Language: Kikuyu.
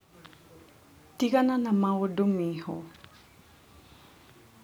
Tigana na maũndũ Minho.